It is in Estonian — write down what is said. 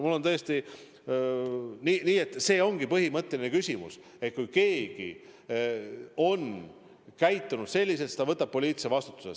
Minu arvates tõesti see ongi põhimõtteline küsimus, et kui keegi on käitunud selliselt, siis ta võtab poliitilise vastutuse.